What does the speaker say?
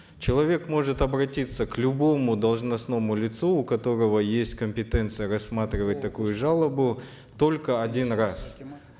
человек может обратиться к любому должностному лицу у которого есть компетенция рассматривать такую жалобу только один раз